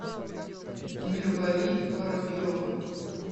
мирвари воробьева